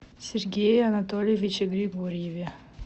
сергее анатольевиче григорьеве